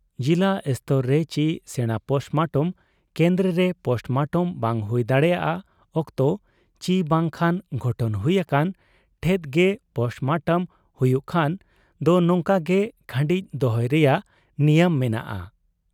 ᱡᱤᱞᱟ ᱥᱛᱚᱨ ᱨᱮ ᱪᱤ ᱥᱮᱬᱟ ᱯᱳᱥᱴᱢᱚᱴᱚᱢ ᱠᱮᱱᱫᱨᱚᱨᱮ ᱯᱳᱥᱢᱚᱴᱚᱢ ᱵᱟᱝ ᱦᱩᱭ ᱫᱟᱲᱮᱭᱟᱜ ᱚᱠᱛᱚ ᱪᱤ ᱵᱟᱝ ᱠᱷᱟᱱ ᱜᱷᱚᱴᱚᱱ ᱦᱩᱭ ᱟᱠᱟᱱ ᱴᱷᱮᱫ ᱜᱮ ᱯᱳᱥᱴᱢᱚᱴᱚᱢ ᱦᱩᱭᱩᱜ ᱠᱷᱟᱱ ᱫᱚ ᱱᱚᱝᱠᱟᱜᱮ ᱠᱷᱟᱺᱰᱤᱡ ᱫᱚᱦᱚᱭ ᱨᱮᱭᱟᱜ ᱱᱤᱭᱚᱢ ᱢᱮᱱᱟᱜ ᱟ ᱾